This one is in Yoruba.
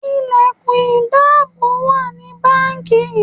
Ilẹ̀kùn ìdáàbò wà ní báńkì.